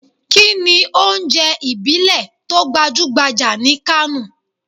Kini ounje ibile to gbajugbaja ni Kano?